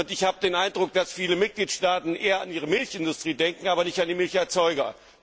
reden. Ich habe den Eindruck, dass viele Mitgliedstaaten eher an ihre Milchindustrie denken, aber nicht an die Milcherzeuger.